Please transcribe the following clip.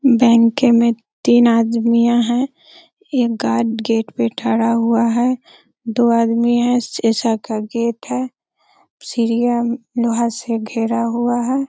Bank में तीन आदमियां है। एक गार्ड गेट पे ठरा हुआ है दो आदमी है। शीशा का गेट है सीढ़ियां लोहा से घेरा हुआ है।